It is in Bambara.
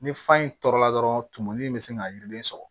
Ni fa in tɔɔrɔla dɔrɔn tumuni in bɛ se ka yiriden sɔrɔ